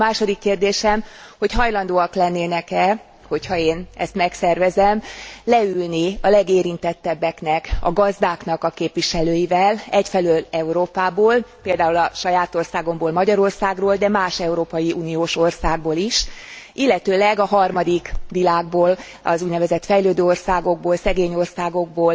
A második kérdésem, hogy hajlandóak lennének e, hogy ha én ezt megszervezem, leülni a legérintettebbeknek a gazdáknak a képviselőivel egyfelől Európából, például a saját országomból, Magyarországról, de más Európai Uniós országból is, illetőleg a harmadik világból, az úgynevezett fejlődő országokból, szegény országokból,